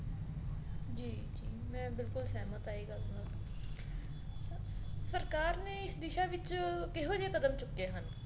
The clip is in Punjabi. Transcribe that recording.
ਜੀ ਮੈਂ ਬਿਲਕੁਲ ਸਹਿਮਤ ਹਾਂ ਇਹ ਗੱਲ ਨਾਲ ਸਰਕਾਰ ਨੇ ਦਿਸ਼ਾ ਵਿੱਚ ਕਿਹੋ ਜਿਹੇ ਕਦਮ ਚੁੱਕੇ ਹਨ